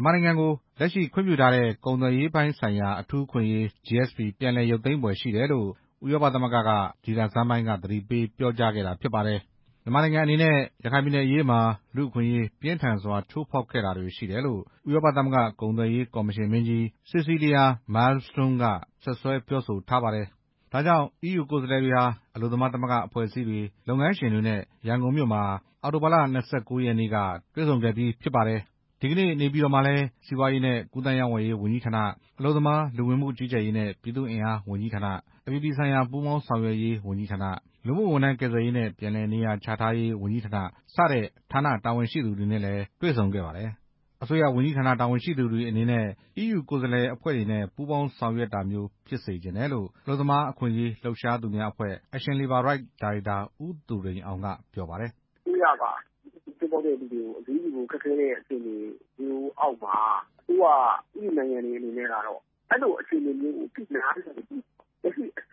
န်မာနိုင်ငံကို လက်ရှိခွင့်ပြုထားတဲ့ ကုန်သွယ်ရေးဆိုင်ရာအထူးအခွင့်အရေး GSP ပြန်လည်ရုပ်သိမ်းဖွယ်ရှိတယ်လို့ ဥရောပသမဂ္ဂက ဒီလဆန်းပိုင်းက သတိပေးပြောကြားခဲ့တာဖြစ်ပါတယ်။ မြန်မာနိုင်ငံအနေနဲ့ ရခိုင်ပြည်နယ်အရေးမှာ လူ့အခွင့်အရေးပြင်းထန်စွာ ချိုးဖောက်ခဲ့တာတွေရှိတယ်လို့ ဥရောပသမဂ္ဂ ကုန်သွယ်ရေးကော်မရှင်မင်းကြီး Cecilia Malmstorm စီဆီးလီယာ မဲလ်မစတွန်းမ် က စွပ်စွဲပြောဆိုထားပါတယ်။ ဒါကြောင့် အီးယူကိုယ်စားလှယ်တွေဟာ အလုပ်သမားသမဂ္ဂအဖွဲ့အစည်းတွေ၊ လုပ်ငန်းရှင်တွေနဲ့ ရန်ကုန်မှာ အရင်တွေ့ဆုံခဲ့အပြီး နေပြည်တော်မှာလည်း စီးပွားရေးနဲ့ ကူးသန်းရောင်းဝယ်ရေးဝန်ကြီးဌာန၊ အလုပ်သမား၊ လူဝင်မှုကြီးကြပ်ရေးနဲ့ ပြည်သူ့အင်အားဝန်ကြီးဌာန၊ အပြည်ပြည်ဆိုင်ရာ ပူးပေါင်းဆောင်ရွက်ရေးဝန်ကြီးဌာန၊ လူမှုဝန်ထမ်းကယ်ဆယ်ရေးနဲ့ ပြန်လည်နေရာချထားရေးဝန်ကြီးဌာန စတဲ့ ဌာနတာဝန်ရှိသူတွေနဲ့လည်း တွေ့ဆုံခဲ့တာဖြစ်ပါတယ်။ အစိုးရဝန်ကြီးဌာနတာဝန်ရှိသူတွေအနေနဲ့ အီးယူ ကိုယ်စားလှယ်အဖွဲ့တွေနဲ့ ပူးပေါင်းဆောင်ရွက်ရွက်တာမျိုး ဖြစ်စေချင်တယ်လို့ အလုပ်သမားအခွင့်အရေးလှုပ်ရှားသူများအဖွဲ့ Action Labour Right ဒါ ရိုက်တာ ဦးသူရိန်အောင် က ပြောပါတယ်။ ‘’အစိုးရက လူ့အခွင့်အရေးချိုးဖောက်တဲ့သူတွေကို အရေးယူဖို့ ခက်ခဲတဲ့ အခြေအနေတွေအောက်မှာ အီးယူနိုင်ငံအနေနဲ့ကတော့ လက်ရှိအ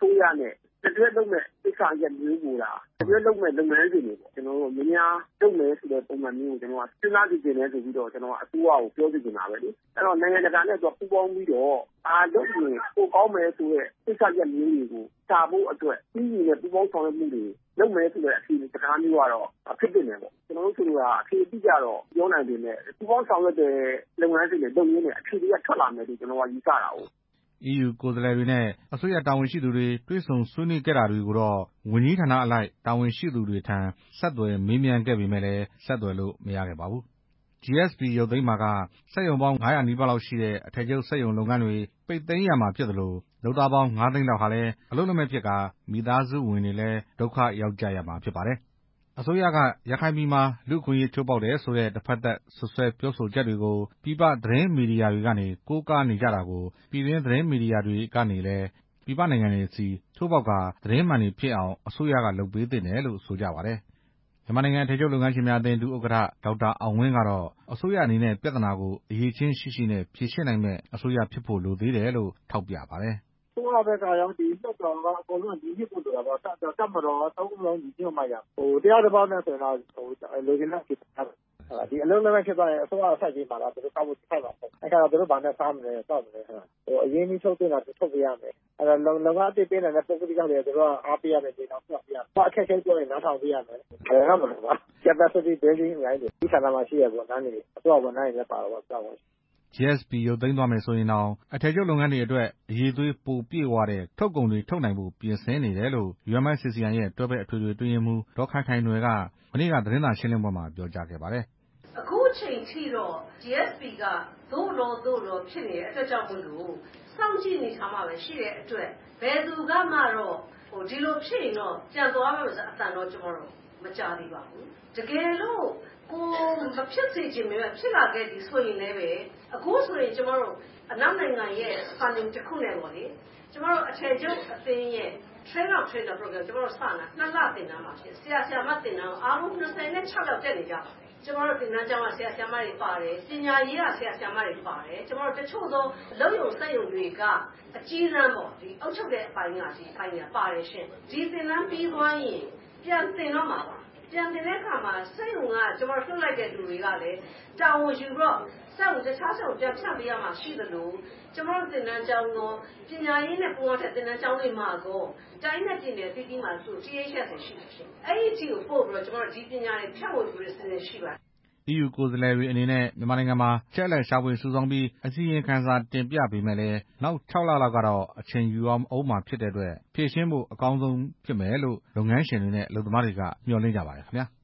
စိုးရနဲ့ လက်တွဲလုပ်မယ့်ကိစ္စရပ်မျိုးကိုသာ များများလုပ်မယ်ဆိုတာ စဉ်းစားစေချင်တယ်ဆိုတာ အစိုးရကို ပြောချင်တာပဲလေ၊ နိုင်ငံတကာနဲ့ပူးပေါင်းပြီးတော့ ဘာလုပ်ရင်ပို ကောင်းမယ်ဆိုတဲ့ကိစ္စရပ်မျိုးတွေကို အီးယူနဲ့ ပူးပေါင်းဆောင်ရွက်မှုတွေကို လုပ်မယ်ဆိုတဲ့ စကားမျိုးကတော့ ဖြစ်သင့်တယ်ပေါ့၊ ဆိုလိုတာက အဖြေအတိအကျတော့မပြောနိုင်ပေမယ့် ပူးပေါင်းဆောင်ရွက်တယ်ဆိုတဲ့ လုပ်ငန်းစဉ်တွေလုပ်ရင်းနဲ့ အဖြေတွေက ထွက်လာမယ်ယူဆတာကိုး" အီးယူကိုယ်စားလှယ်တွေနဲ့ အစိုးရတာဝန်ရှိသူတွေ တွေ့ဆုံဆွေးနွေးခဲ့တာတွေကို ဝန်ကြီးဌာနအလိုက် တာဝန်ရှိသူတွေထံ ဆက်သွယ်မေးမြန်းခဲ့ပေမဲ့ ဆက်သွယ်လို့မရခဲ့ပါဘူး။ GSP ရုပ်သိမ်းပါက စက်ရုံပေါင်း ၅၀၀ နီးပါးလောက်ရှိတဲ့ အထည်ချုပ်စက်ရုံလုပ်ငန်းတွေ ပိတ်သိမ်းရမှာဖြစ်သလို လုပ်သားပေါင်း ၅ သိန်းလောက်ဟာလည်း အလုပ်လက်မဲ့ဖြစ်ကာ မိသားစုဝင်တွေလည်း ဒုက္ခရောက်ကြရမှာဖြစ်ပါတယ်။ အစိုးရက ရခိုင်ပြည်မှာ လူ့အခွင့်အရေးချိုးဖောက်တယ်ဆိုတဲ့ တဖက်သက်စွပ်စွဲပြောဆိုချက်တွေကို ပြည်ပသတင်းမီဒီယာတွေကနေ ကိုးကားနေကြတာကို ပြည်တွင်းသတင်းမီဒီယာတွေကနေလည်း ပြည်ပနိုင်ငံတွေဆီ ထိုးဖောက်ကာသတင်းမှန်တွေဖြစ်အောင် အစိုးရက လုပ်ပေးသင့်တယ်လို့ ဆိုကြပါတယ်။ မြန်မာနိုင်ငံ အထည်ချုပ်လုပ်ငန်းရှင်များအသင်း ဒု-ဥက္ကဌ ဒေါက်တာအောင်ဝင်းကတော့ အစိုးရအနေနဲ့ ပြဿနာကို အရည်အချင်းရှိရှိနဲ့ ဖြေရှင်းနိုင်မယ့် အစိုးရဖြစ်ဖို့လိုသေးတယ်လို့ ထောက်ပြပါတယ်။ ‘’အစိုးရရော၊ လွှတ်တော်ရော၊ တပ်မတော်ရော အားလုံးညီညွတ်မှရမယ်၊ တစ်ယောက်တစ်ပေါက်နဲ့ဆိုရင် လိုချင်တဲ့အဖြေရမှာမဟုတ်ဘူး၊ ဒီလိုအလုပ်လက်မဲ့ဖြစ်သွားရင် အစိုးရကဂရုစိုက်ပေးမှာလား သူတို့ဘာနဲ့စားမလဲ အရင်းအနှီးထုတ်သင့်တာဆို ထုတ်ပေးရမယ် လုပ်ငန်းပေးနိုင်မယ့် ပုဂ္ဂလိကလုပ်ငန်းတွေ အားပေးရမယ် မြေတောင်မြှောက်ပေးရမယ်၊ အခက်အခဲပြောရင် နားထောင်ပေးရမယ်၊ လွယ်တော့မလွယ်ဘူး၊ Capiticity Building အများကြီးလိုတယ်၊ ဝန်ကြီးဌာနမှာရှိတဲ့ဝန်ကြီးတွေ အစိုးရဝန်ထမ်းတွေလည်းပါတာပေါ့’’ GSP ရုပ်သိမ်းသွားမယ်ဆိုရင်တောင် အထည်ချုပ်လုပ်ငန်းတွေအတွက် အရည်အသွေးပိုပြည်ဝတဲ့ ထုတ်ကုန်တွေထုတ်နိုင်ဖို့ပြင်ဆင်နေတယ်လို့ UMFCCI ရဲ့ တွဲဖက်အထွေထွေအတွင်းရေးမှူး ဒေါ်ခိုင် ခိုင်နွယ်က မနေ့က သတင်းစာရှင်းလင်းပွဲမှာ ပြောကြားခဲ့ပါတယ်။ ‘’အခုအချိန်ထိတော့ GSP က သို့လောသို့လောဖြစ်နေတယ် စောင့်ကြည့်အနေအထားမှာပဲရှိတဲ့အတွက် ဘယ်သူကမှတော့ ဒီလိုဖြစ်ရင်ပြန်သွားမယ်ဆိုတဲ့အသံတော့ မကြားရသေးဘူး၊ တကယ်လို့ ကိုယ်မဖြစ်စေချင်ပေမယ့်လည်းဖြစ်လာခဲ့ရင် အခုချိန်ကျွန်မတို့ အနောက်နိုင်ငံရဲ့ funning တစ်ခုနဲ့ပေါ့လေ အထည်ချုပ်လုပ်ငန်းရဲ့ Train of Tranier နှစ်လသင်တန်း စနေပါပြီ၊ ဆရာ ဆရာမ သင်တန်းသား ၂၆ ယောက်ရှိပါတယ်၊ ကျွန်မတို့ သင်တန်းကျောင်းက ဆရာဆရာမတွေပါတယ်၊ ပညာရေးက ဆရာဆရာမတွေပါတယ်၊ အလုပ်ရုံစက်ရုံတွေက အကြီးတန်းပေါ့ အုပ်ချုပ်တဲ့အပိုင်းသူတွေပါတယ်၊ ဒီသင်တန်းပြီးသွားရင် ပြန်သင်တော့မှာပါ၊ စက်ရုံကလွှတ်လိုက်တဲ့သူတွေကလည်း တာဝန်ယူပြီးတော့ တစ်ခြားစက်ရုံတွေပြန်ဖြန့်ရမှာရှိသလို ဒီပညာတွေပြန်ဖြန့်ဝေဖို့ရှိပါတယ်’’ အီးယူကိုယ်စားလှယ်တွေအနေနဲ့ မြန်မာနိုင်ငံမှာ အချက်အလက်တွေရှာဖွေစုဆောင်းပြီး အစီရင်ခံတင်ပြပေမယ့် လည်း နောက် ၆ လ လောက်ကတော့ အချိန်ယူရဦးမှာဖြစ်တဲ့အတွက် ဖြေရှင်းဖို့အကောင်းဆုံးဖြစ်မယ်လို့တော့ လုပ်ငန်းရှင်တွေနဲ့ အလုပ်သမားတွေက မျှော်လင့်ကြပါတယ်ခင်ဗျာ။